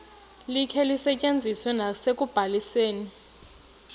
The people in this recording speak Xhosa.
likhe lisetyenziswe nasekubalisweni